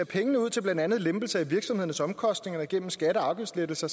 pengene ud til blandt andet en lempelse af virksomhedernes omkostninger gennem skatte og afgiftslettelser